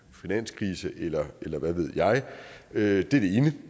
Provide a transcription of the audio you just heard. finanskrise eller hvad ved jeg det